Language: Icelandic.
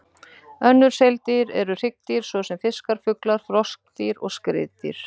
Önnur seildýr eru hryggdýr, svo sem fiskar, fuglar, froskdýr og skriðdýr.